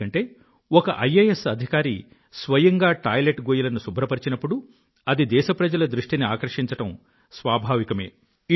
ఎందుకంటే ఒక ఐఎఎస్ అధికారి స్వయంగా టాయిలెట్ గొయ్యిలను శుభ్రపరిచినప్పుడు అది దేశప్రజల దృష్టిని ఆకర్షించడం స్వాభావికమే